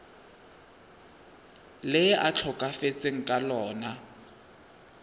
le a tlhokafetseng ka lona